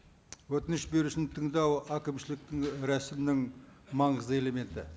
өтініш берушіні тыңдау әкімшіліктің і рәсімнің маңызды элементі